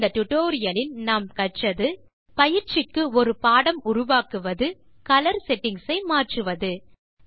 இந்த டுடோரியலில் கற்றது பயிற்சிக்கு ஒரு பாடம் உருவாகுவது கலர் செட்டிங்ஸ் ஐ மாற்றுவது